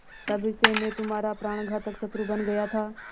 तब से मैं तुम्हारा प्राणघातक शत्रु बन गया था